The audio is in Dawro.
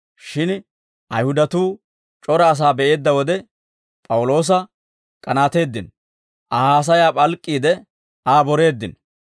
Shin Ayihudatuu c'ora asaa be'eedda wode, P'awuloosa k'anaateeddino; Aa haasayaa p'alk'k'iide, Aa boreeddino.